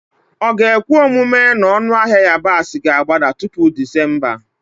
Ọ ga-ekwe omume na ọnụ ahịa yabasị ga-agbada tupu Disemba?